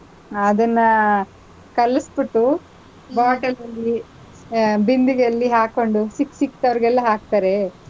ಅದನ್ನ ಕಲಸ್ಬಿಟ್ಟು, bottle ಅಲ್ಲಿ ಆಹ್ ಬಿಂದಿಗೆಯಲ್ಲಿ ಹಾಕೊಂಡು ಸಿಕ್ ಸಿಕ್ದವರಿಗೆಲ್ಲಾ ಹಾಕ್ತಾರೆ,